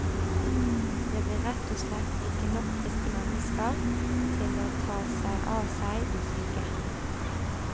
Det blir rett og slett ikke nok friske mennesker til å ta seg av seg de syke.